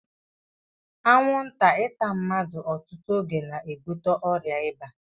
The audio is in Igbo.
Anwụnta ịta mmadụ ọtụtụ oge na-ebute ọrịa ịba